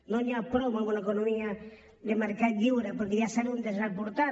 no n’hi ha prou amb una economia de mercat lliure perquè ja sabem on ens ha portat